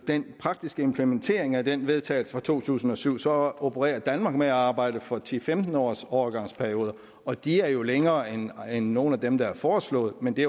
den praktiske implementering af den vedtagelse fra to tusind og syv så opererer danmark med at arbejde for ti til femten års overgangsperioder og de er jo længere end nogen af dem der er foreslået men det